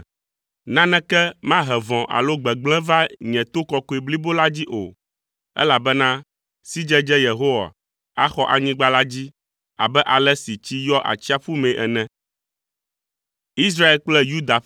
Naneke mahe vɔ̃ alo gbegblẽ va nye to kɔkɔe blibo la dzi o, elabena sidzedze Yehowa axɔ anyigba la dzi abe ale si tsi yɔa atsiaƒu mee ene.